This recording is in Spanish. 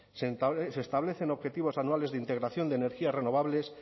se establecen objetivos anuales de integración de energías renovables